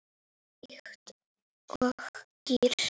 Líkt og gír